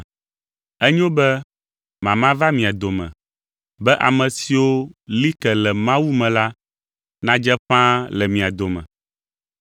Enyo be mama va mia dome, be ame siwo li ke le Mawu me la nadze ƒãa le mia dome.